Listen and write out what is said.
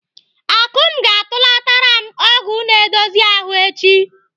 Akụm ga-atụlatara m ọgwụ na-edozi ahụ echi.